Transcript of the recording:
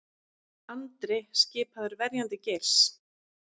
Andri skipaður verjandi Geirs